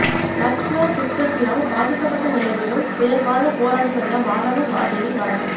muscular டிஸ்ட்ரபியால் பாதிக்கப்பட்ட நிலையிலும் பிறர் வாழ போராடி வந்த வானவன் மாதேவி மரணம்